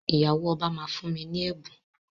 Ìyàwó ọba máa fún mi ní ẹ̀bùn.